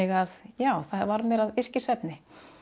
að já það varð mér að yrkisefni